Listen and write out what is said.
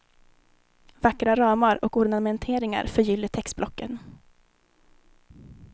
Vackra ramar och ornamenteringar förgyller textblocken.